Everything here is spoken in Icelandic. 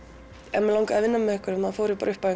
ef mig langaði að vinna með einhverjum fór ég bara upp að